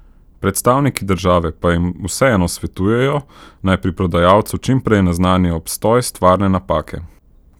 Predstavniki države pa jim vseeno svetujejo, naj pri prodajalcu čim prej naznanijo obstoj stvarne napake.